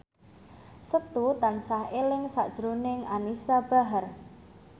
Setu tansah eling sakjroning Anisa Bahar